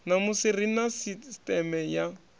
ṋamusi ri na sisteme ya